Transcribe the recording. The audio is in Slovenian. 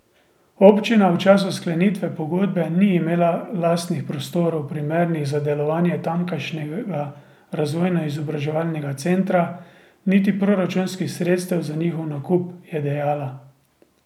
Občina v času sklenitve pogodbe ni imela lastnih prostorov, primernih za delovanje tamkajšnjega Razvojno izobraževalnega centra niti proračunskih sredstev za njihov nakup, je dejala.